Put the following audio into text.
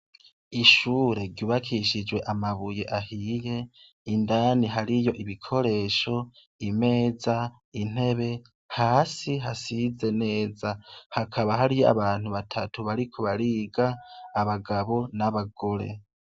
Ishure ryubakishijwe amabuye ahiye indani hariyo ibikoresho imeza intebe hasi hasize neza hakaba hariyo abantu batatu bari ku bariga abagabo n'abagore.